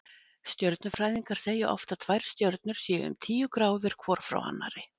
Stjörnufræðingar segja oft að tvær stjörnur séu um tíu gráður hvor frá annarri.